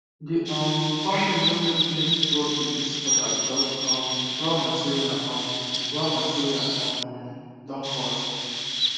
the um company no make plenty profit this quarter because um raw material um raw material um don cost